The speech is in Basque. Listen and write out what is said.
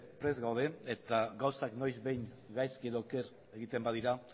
prest gaude eta gauzak noiz behin gaizki edo oker egiten badira